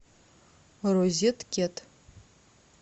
розеткед